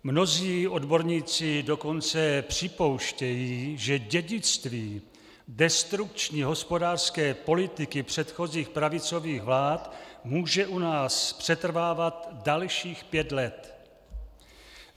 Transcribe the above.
Mnozí odborníci dokonce připouštějí, že dědictví destrukční hospodářské politiky předchozích pravicových vlád může u nás přetrvávat dalších pět let.